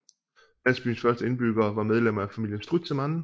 Landsbyens første indbyggere var medlemmer af familien Strützemann